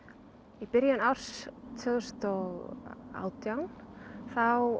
í byrjun árs tvö þúsund og átján þá